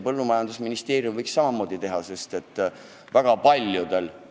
Põllumajandusministeerium võiks seda samamoodi teha, miks mitte!